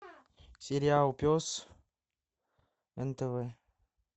сериал пес нтв